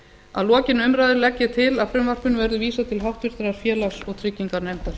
að lokinni umræðu legg ég til að frumvarpinu verði vísað til háttvirtrar félags og trygginganefndar